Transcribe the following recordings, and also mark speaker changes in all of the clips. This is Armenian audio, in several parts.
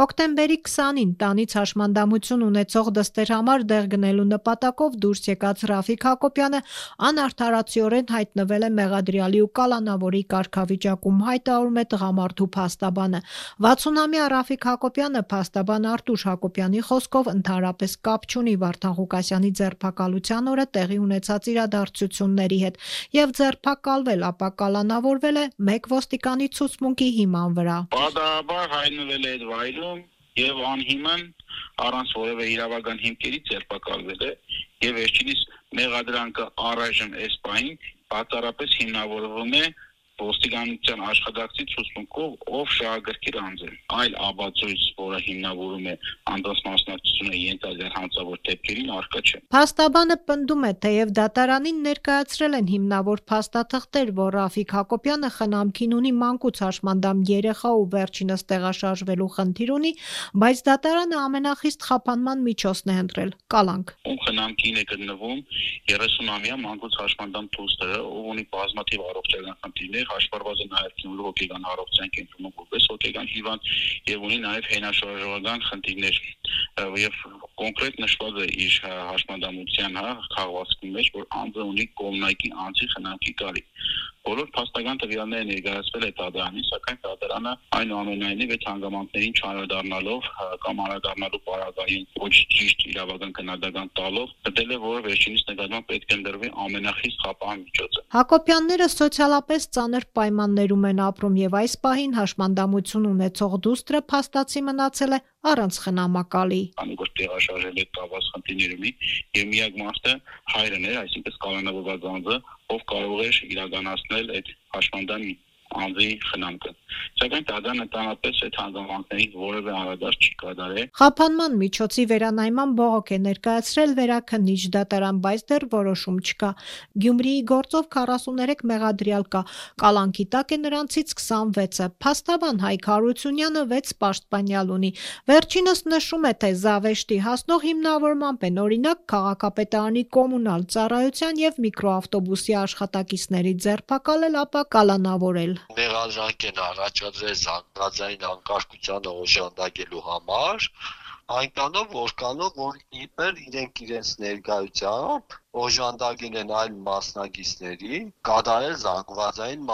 Speaker 1: Հոկտեմբերի 20-ին հաշմանդամություն ունեցող դստեր համար դեղ գնելու նպատակով տնից դուրս եկած Ռաֆիկ Հակոբյանը անարդարացիորեն հայտնվել է մեղադրյալի ու կալանավորի կարգավիճակում, հայտարարում է տղամարդու փաստաբանը: 60-ամյա Ռաֆիկ Հակոբյանը փաստաբան Արտուշ Հակոբյանի խոսքով, ընդհանրապես կապ չունի Վարդան Ղուկասյանի ձերբակալության օրը տեղի ունեցած իրադարձությունների հետ և ձերբակալվել, ապա կալանավորվել է մեկ ոստիկանի ցուցմունքի հիման վրա: Փաստաբանն
Speaker 2: ընդգծում է. «Պատահաբար հայտնվել է այդ վայրում և անհիմն, առանց որևէ իրավական հիմքերի ձերբակալվել է, և վերջինիս մեղադրանքը առայժմ այս պահին բացառապես հիմնավորվում է ոստիկանության աշխատակցի ցուցմունքով, ով շահագրգիռ անձ է, այլ ապացույց, որը հիմնավորում է անձանց մասնակցությունը ենթադրյալ հանցավոր դեպքերին, առկա չէ»:
Speaker 1: Փաստաբանը պնդում է՝ թեև դատարանին ներկայացրել են հիմնավոր փաստաթղթեր, որ Ռաֆիկ Հակոբյանը խնամքին ունի մանկուց հաշմանդամություն ունեցող երեխա ու վերջինս տեղաշարժվելու խնդիր ունի, բայց դատարանը ամենախիստ խափանման միջոցն է ընտրել՝ կալանք:
Speaker 2: «Խնամքին է գտնվում 30-ամյա դուստրը, ով ունի բազմաթիվ առողջական խնդիրներ, հաշվառված է նաև «Գյումրու հոգեկան առողջության» կենտրոնում որպես հոգեկան հիվանդ և ունի նաև հենաշարժողական խնդիրներ: Կոնկրետ նշված է իր հաշմանդամության քաղվածքի մեջ, որ անձը ունի կողմնակի անձի կարիք: Բոլոր փաստական տվյալները ներկայացվել է դատարանին, սակայն, դատարանն, այնուամենայնիվ, այդ հանգամանքներին չանդրադառնալով կամ անդրադառնալու պարագային ոչ ճիշտ իրավական գնահատական տալով, գտել է, որ վերջինիս նկատմամբ պետք է ընտրվի ամենախիստ խափան միջոցը», - ասում է փաստաբան
Speaker 1: Արտուշ Հակոբյանը: Հակոբյանները սոցիալական ծանր պայմաններում են ապրում և այս պահին հաշմանդամություն ունեցող դուստրը փաստացի մնացել է առանց խնամակալի:
Speaker 2: Փաստաբանը շեշտում է. «Քանի որ տեղաշարժման հետ կապված խնդիրներ ունի, և միակ մարդը հայրն էր, այսինքն՝ կալանավորված անձը, ով կարող էր իրականացնել այդ հաշմանդամ անձի խնամքը։ Սակայն դատարանը ընդհանրապես էայդ հանգամանքներին որևէ անդրադարձ չի կատարել»:
Speaker 1: Խափանման միջոցի վերանայման բողոք է ներկայացրել Վերաքննիչ դատարան, բայց դեռ որոշում չկա: Գյումրիի գործով 43 մեղադրյալ կա, կալանքի տակ է նրանցից 26-ը: Փաստաբան Հայկ Հարությունյանը 6 պաշտպանյալ ունի: Վերջինս նշում է, թե զավեշտի հասնող հիմնավորմամբ են օրինակ՝ քաղաքապետարանի Կոմունալ ծառայության և միկրոավտոբուսի աշխատակիցների ձերբակալել, ապա կալանավորել:
Speaker 3: «Մեղադրանք են առաջադրել զանգվածային անկարգությանը օժանդակելու համար այնքանով, որքանով որ իբր իրենք իրենց ներկայությամբ օժանդակել են այլ մասնակիցներին կատարել զանգվածային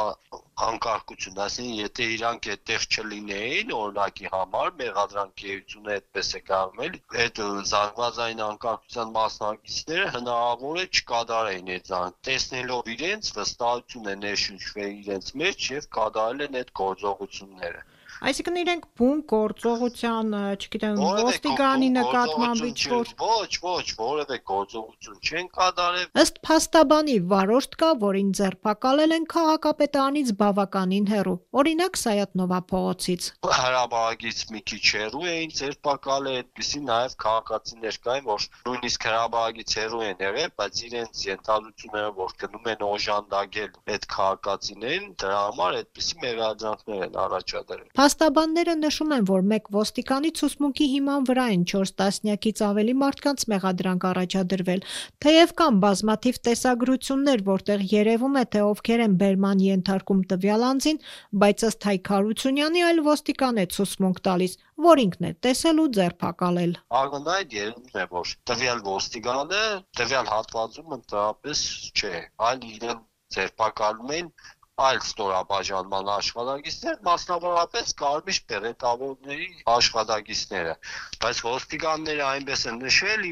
Speaker 3: անկարգություն, այսինքն՝ եթե իրենք այդտեղ չլինեին, օրինակի համար, մեղադրանքի էությունը այդպես է կայանում էլի, այդ զանգվածային անկարգության մասնակիցները հնարավոր է չկատարեին դա՝ տեսնելով իրենց վստահություն է ներշնչվել իրենց մեջ և կատարել են այդ գործողությունները։
Speaker 1: Իրենք որևէ
Speaker 3: գործողություն չեն
Speaker 1: կատարել»:, - ասում է փաստաբան Հայկ Հարությունյանը: Ըստ փաստաբանի՝ վարորդ կա, որին ձերբակալել են քաղաքապետարանից բավականին հեռու, օրինակ՝ Սայաթ Նովա փողոցից.
Speaker 3: «Հրապարակից մի քիչ հեռու էին ձերբակալել, այդպիսի քաղաքացիներ կային նաև, որ նույնիսկ հրապարակից հեռու են եղել, բայց իրենց ենթադրություններով, որ գնում են օժանդակեն այդ քաղաքացիներին, դրա համար այդպիսի մեղադրանքներ են առաջադրել»:
Speaker 1: Փաստաբանները նշում են, որ մեկ ոստիկանի ցուցմունքի հիման վրա են չորս տասնյակից ավելի մարդկանց մեղադրանք առաջադրվել: Թեև կան բազմաթիվ տեսագրություններ, որտեղ երևում է, թե ովքեր են բերման ենթարկում տվյալ անձին, բայց, ըստ Հակ Հարությունյանի, այլ ոստիկան է ցուցմունք տալիս, որ ինքն է տեսել ու ձերբակալել:
Speaker 3: Փաստաբանի խոսքով.- «Ակնհայտ երևում է, որ տվյալ ոստիկանը տվյալ հատվածում ընդհանրապես չէ, այլ իրեն ձերբակալում են այլ ստորաբաժանման աշխատակիցներ, մասնավորապես կարմիր բերետավորների աշխատակիցները, բայց ոստիկանները այնպես են նշել,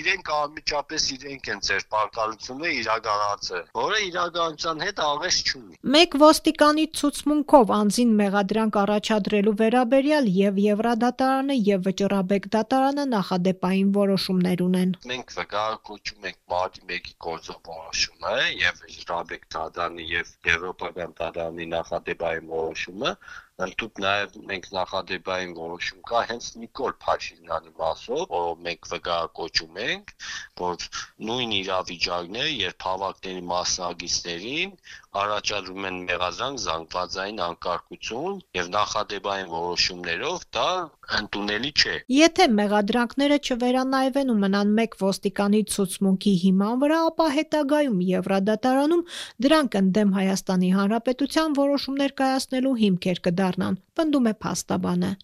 Speaker 3: իբր՝ անմիջապես իրենք են ձերբակալությունը իրականացրել, որը իրականության հետ աղերս չունի»:
Speaker 1: Մեկ ոստիկանի ցուցմունքնով անձին մեղադրանք առաջադրելու վերաբերյալ և՛ Եվրադատարանը և՛ Վճռաբեկ դատարանը նախադեպային որոշումներ ունեն:
Speaker 3: «Մենք վկայակոչում ենք Մարտի 1-ի գործով որոշումը, և՛ Վճռաբեկ դատարանի, և՛ Եվրոպական դատարանի նախադեպային որոշումը, ընդհուպ նաև նախադեպային որոշում կա հենց Նիկոլ Փաշինյանի մասով, որ մենք վկայակոչում ենք, որ նույն իրավիճակն է, երբ հավաքների մասնակիցներին առաջադրում են մեղադրանք, զանգվածային անկարգություն և նախադեպային որոշումներով, դա ընդունելի չէ», - ասում է փաստաբանը:
Speaker 1: «Եթե մեղադրանքները չվերանայվեն ու մնան մեկ ոստիկանի ցուցմունքի հիման վրա, ապա հետագայում Եվրադատարանում դրանք ընդդեմ ՀՀ-ի որոշումներ կայացնելու հիմքեր կդառնան»,- պնդում է փաստաբանը: